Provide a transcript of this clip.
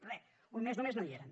re fa un mes només no hi eren